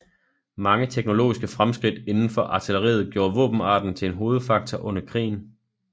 Mange teknologiske fremskridt inden for artilleriet gjorde våbenarten til en hovedfaktor under krigen